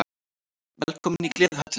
Velkomin í Gleðihöllina!